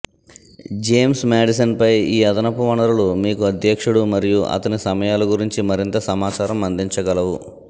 James మాడిసన్పై ఈ అదనపు వనరులు మీకు అధ్యక్షుడు మరియు అతని సమయాల గురించి మరింత సమాచారం అందించగలవు